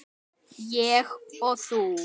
Ég og þú.